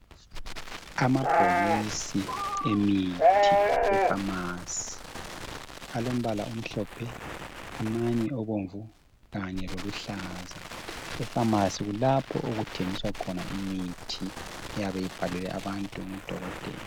Amabhokisi emithi ephamarcy alombala omhlophe amanye obomvu kanye loluhlaza ,ephamarcy kulapho okuthengiswa khona imithi eyabe ibhalelwe abantu nguDokotela